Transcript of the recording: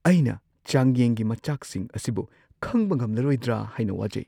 ꯑꯩꯅ ꯆꯥꯡꯌꯦꯡꯒꯤ ꯃꯆꯥꯛꯁꯤꯡ ꯑꯁꯤꯕꯨ ꯈꯪꯕ ꯉꯝꯂꯔꯣꯏꯗ꯭ꯔ ꯍꯥꯏꯅ ꯋꯥꯖꯩ꯫